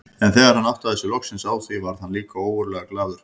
En þegar hann áttaði sig loksins á því varð hann líka ógurlega glaður.